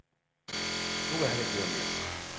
Nu vil han ikke høre mere.